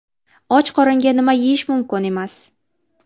Och qoringa nima yeyish mumkin emas?.